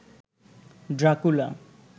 Dracula